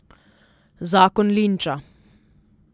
Zakon linča.